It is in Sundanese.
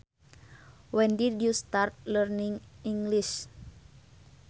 When did you start learning English